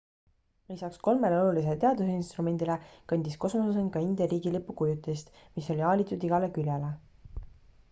lisaks kolmele olulisele teadusinstrumendile kandis kosmosesond ka india riigilipu kujutist mis oli aalitud igale küljele